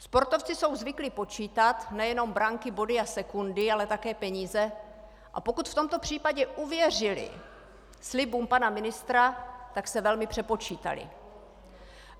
Sportovci jsou zvyklí počítat nejenom branky, body a sekundy, ale také peníze, a pokud v tomto případě uvěřili slibům pana ministra, tak se velmi přepočítali.